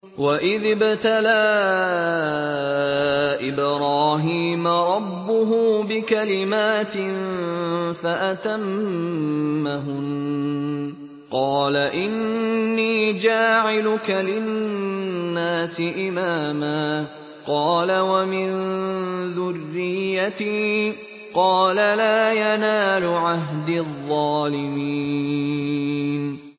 ۞ وَإِذِ ابْتَلَىٰ إِبْرَاهِيمَ رَبُّهُ بِكَلِمَاتٍ فَأَتَمَّهُنَّ ۖ قَالَ إِنِّي جَاعِلُكَ لِلنَّاسِ إِمَامًا ۖ قَالَ وَمِن ذُرِّيَّتِي ۖ قَالَ لَا يَنَالُ عَهْدِي الظَّالِمِينَ